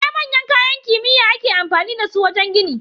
Akwai manyan kayan kimiya ake amfani da su wajan gini